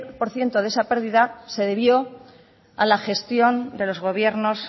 por ciento de esa pérdida se debió a la gestión de los gobiernos